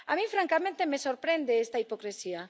A mí, francamente, me sorprende esta hipocresía.